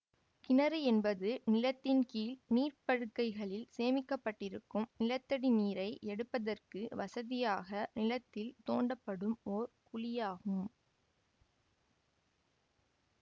கிணறு என்பது நிலத்தின் கீழ் நீர்ப்படுகைகளில் சேமிக்கப்பட்டிருக்கும் நிலத்தடி நீரை எடுப்பதற்கு வசதியாக நிலத்தில் தோண்டப்படும் ஓர் குழி ஆகும்